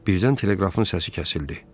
Birdən teleqrafın səsi kəsildi.